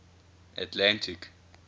atlantic